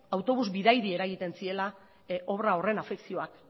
autobus bidaiari eragiten ziela obra horren afekzioak